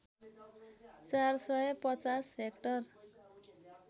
४ सय ५० हेक्टर